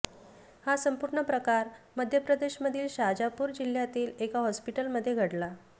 हा संपूर्ण प्रकार मध्य प्रदेशमधील शाजापूर जिल्ह्यातील एका हॉस्पिटलमध्ये घडला